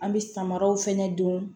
An bɛ samaraw fɛnɛ don